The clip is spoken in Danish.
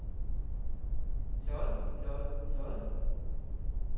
lod lod lod